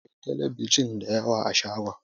Akwai telebijin dayawa a shagon